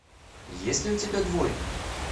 есть ли у тебя двойка